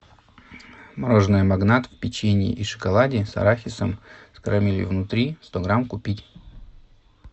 мороженое магнат в печенье и шоколаде с арахисом с карамелью внутри сто грамм купить